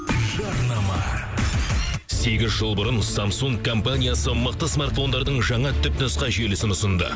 жарнама сегіз жыл бұрын самсунг компаниясы мықты смарфондардың жаңа түпнұсқа желісін ұсынды